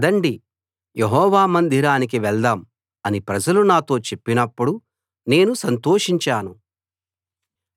పదండి యెహోవా మందిరానికి వెళ్దాం అని ప్రజలు నాతో చెప్పినప్పుడు నేను సంతోషించాను